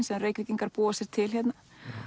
sem Reykvíkingar búa sér til hérna